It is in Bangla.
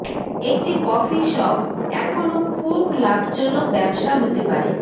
একটি কফি শপ এখনও খুব লাভজনক ব্যবসা হতে পারে